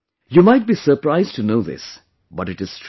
You might be surprised to know this, but it is true